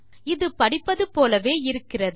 இது படிப்பது போலவே இருக்கிறது